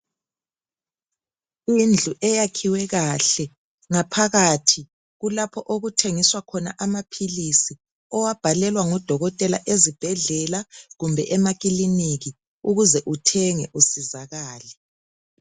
Indlu eyakhiwe kahle ngaphakathi kulapho okuthengiswa khona amaphilizi owabhalelwa ngudokotela ezibhedlela kumbe emakiliniki ukuze uthenge usizakale.